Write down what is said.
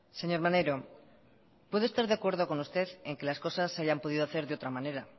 señor maneiro puedo estar de acuerdo con usted en que las cosas se hayan podido hacer de otra manera